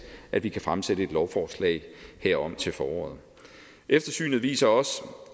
at vi kan fremsætte et lovforslag herom til foråret eftersynet viser også